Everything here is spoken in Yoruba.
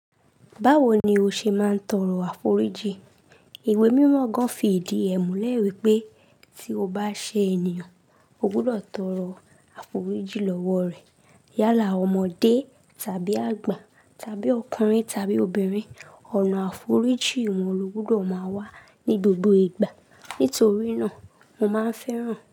Báwo ni o ṣe máa ń tọrọ àforíjì? Iwe mímọ́ gan fi ìdí ẹ mú lẹ́ wípé tí o bá ṣe ènìyàn, o gbúdọ̀ tọrọ àforíjì lọ́wọ́ rẹ̀. Yálà ọmọdé tàbí àgbà tàbí ọkùnrin tàbí obìnrin, ọ̀nà àforíjì wọn ló gbúdọ̀ máa wà ní gbogbo ìgbà. Nítorí náà, mo máa ń fẹ́ràn.